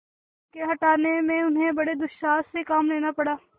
उनके हटाने में उन्हें बड़े दुस्साहस से काम लेना पड़ा